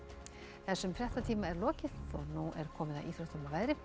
þessum fréttatíma er lokið og nú er komið að íþróttum og veðri